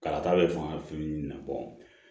Kala ta bɛ faga fini na